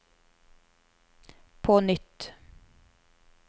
på nytt